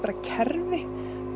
kerfi